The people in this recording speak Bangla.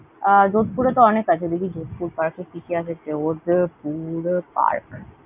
আহ যোধপুরে তো অনেক আছে। দেখি যোধপুর Park এ কি কি আছে food, burger ।